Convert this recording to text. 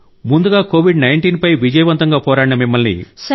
ముందుగా కోవిడ్ 19 పై విజయవంతంగా పోరాడిన మిమ్మల్ని